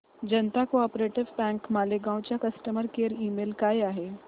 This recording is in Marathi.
जनता को ऑप बँक मालेगाव चा कस्टमर केअर ईमेल काय आहे